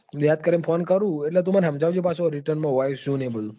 એટલે હું યાદ કરી ને phone કરું એટલે તું મને પાછો સમજાવજે પાછુ return હોય શું ને બધું.